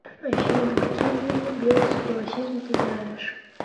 афина какие виды белый супремасизм ты знаешь